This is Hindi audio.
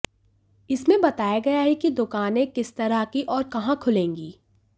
इसमें बताया गया है कि दुकानें किस तरह की और कहां खुलेंगी